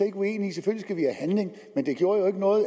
ikke uenige i selvfølgelig have handling men det gjorde jo ikke noget